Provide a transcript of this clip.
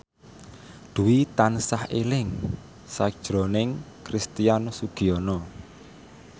Dwi tansah eling sakjroning Christian Sugiono